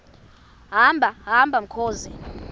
hamba hamba mkhozi